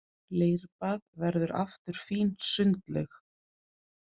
Leirbað verður aftur fín sundlaug